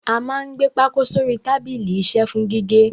A máa ń gbé pákó sórí tábìlì isẹ́ fún gígé.